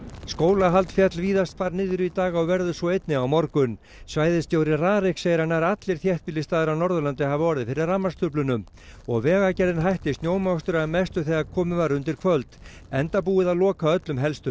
skólahald féll víðast hvar niður í dag og verður svo einnig á morgun svæðisstjóri RARIK segir að nær allir þéttbýlisstaðir á Norðurlandi hafi orðið fyrir rafmagnstruflunum og Vegagerðin hætti snjómokstri að mestu þegar komið var undir kvöld enda búið að loka öllum helstu